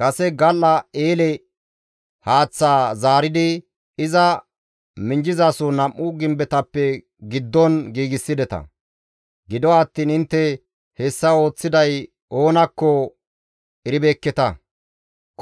Kase gal7a eele haaththaa zaaridi, iza minjjizaso nam7u gimbetappe giddon giigsideta. Gido attiin intte hessa ooththiday oonakko eribeekketa;